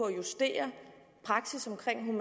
at justere praksis omkring